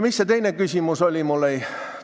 Mis see teine küsimus oli?